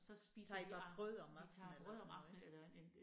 Så spiser vi vi tager brød om aftenen eller en